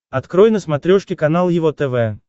открой на смотрешке канал его тв